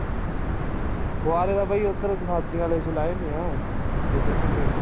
ਫ਼ੁਹਾਰੇ ਦਾ ਬਾਈ ਉੱਧਰ ਸਬਜੀਆਂ ਆਲੇ ਚ ਲਾਏ ਪਏ ਆ ਜਿੱਧਰ ਭਿੰਡੀਆਂ